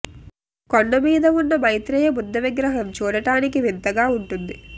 కొండ మీద ఉన్న మైత్రేయ బుద్ధ విగ్రహం చూడటానికి వింతగా ఉంటుంది